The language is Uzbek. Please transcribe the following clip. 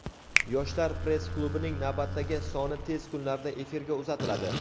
"Yoshlar press klubi"ning navbatdagi soni tez kunlarda efirga uzatiladi.